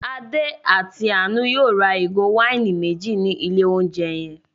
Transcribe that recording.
Adé àti Àánú yóò ra ìgò wáìnì méjì ní ilé-oúnjẹ yẹn.